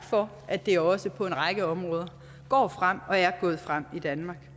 for at det også på en række områder går frem og er gået frem i danmark det